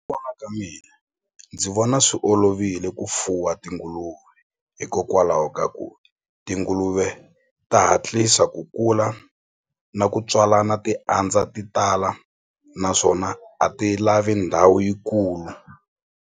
ka mina ndzi vona swi olovile ku fuwa tinguluve hikokwalaho ka ku tinguluve ta hatlisa ku kula na ku tswalana ti andza ti tala naswona a ti lavi ndhawu yikulu.